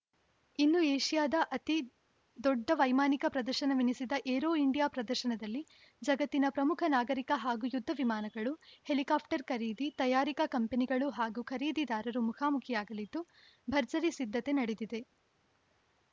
ಇನ್ನು ಏಷ್ಯಾದ ಅತಿ ದೊಡ್ಡ ವೈಮಾನಿಕ ಪ್ರದರ್ಶನವೆನಿಸಿದ ಏರೋ ಇಂಡಿಯಾ ಪ್ರದರ್ಶನದಲ್ಲಿ ಜಗತ್ತಿನ ಪ್ರಮುಖ ನಾಗರಿಕ ಹಾಗೂ ಯುದ್ಧ ವಿಮಾನಗಳು ಹೆಲಿಕಾಪ್ಟರ್‌ ಖರೀದಿ ತಯಾರಿಕಾ ಕಂಪನಿಗಳು ಹಾಗೂ ಖರೀದಿದಾರರು ಮುಖಾಮುಖಿಯಾಗಲಿದ್ದು ಭರ್ಜರಿ ಸಿದ್ಧತೆ ನಡೆದಿದೆ